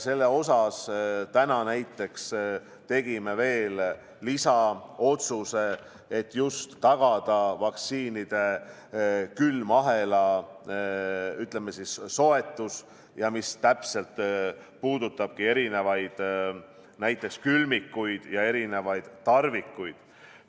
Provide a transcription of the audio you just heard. Selle osas tegime täna veel lisaotsuse, et tagada vaktsiinide külmahela soetus, mis puudutabki erinevaid külmikuid ja erinevaid tarvikuid.